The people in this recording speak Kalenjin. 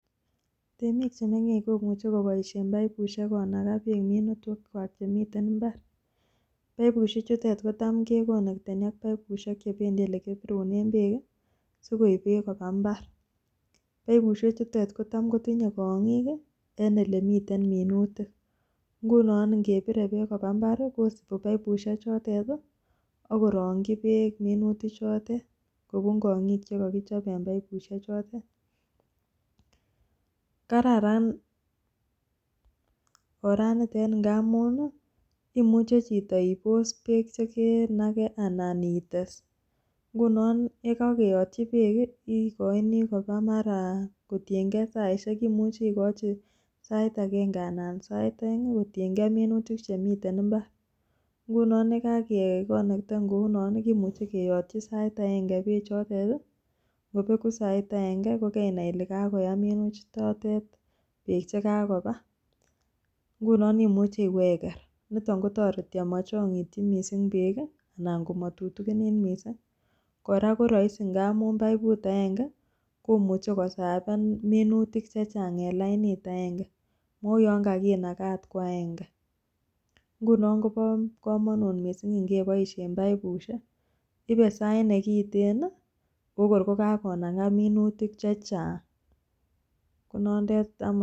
Temik chemengech komuche koboshe baibushek konakaa beek minutik kwak chemiten imbari baibushek chutet kotam kekonekteni ak baibushek chebendii olekipirunen beek kii sikoib beek koba imbar, baibushek chutet kotam kotinye kongiki en olemiten minutik, ngunon ikepire beek koba imbar kosibi baibushek chutet tii akorongi beek minutik chotet kobun kongiki chekokichob en baibushek chotet. Kararan oraniten ngamun imuche chiton ibos beek chekenake ana ites nguno yekokeyotyi beek kii ikoini koba maraa kotiyengee saishek imuchi ikochi sait agenge ana sait oeng kotiyengee minutik chemiten imbari. Nguni yekakekonekten kounonkimuche keyotyi sait agenge beek choton tii ngobeku sait aegenge ko kenai Ile kayam minutik chotet beek chekakoba nguno imuch iweker niton kotoreti omochongityi missing beek kii anan komotutukinit missing, Koraa koroisi ngamun baibu agenge komuche kosafen minutik chechang en lainit agenge mou yon kakinaka okot kwa genge, ngunon kobo komonut missing ngeboishen boibushek ibe sait nekiten nii okor ko kakonaka minutik chechang konondet amunen.